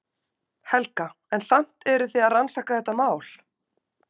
Helga: En samt eruð þið að rannsaka þetta mál?